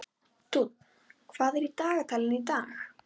Dúnn, hvað er í dagatalinu í dag?